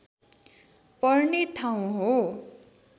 पर्ने ठाउँ हो